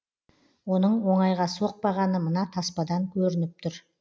оның оңайға соқпағаны мына таспадан көрініп тұр